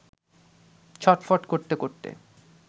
ছটফট করতে করতে